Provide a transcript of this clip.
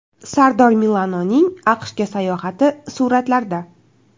Sardor Milanoning AQShga sayohati suratlarda .